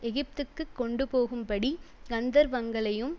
எகிப்துக்குக் கொண்டு போகும் படி கந்தவர்ங்களையும்